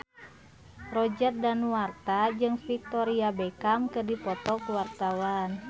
Roger Danuarta jeung Victoria Beckham keur dipoto ku wartawan